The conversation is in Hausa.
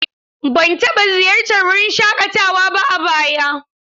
Ban taɓa ziyartar wurin shaƙatawa ba a baya.